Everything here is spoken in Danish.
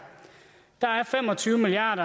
der er fem og tyve milliard